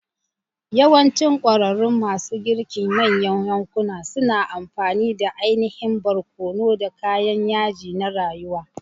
Yawancinm ƙwararrun masu girkin manyan yankuna suna amfani da ainihin barkono, da kayan yaji na rayuwa.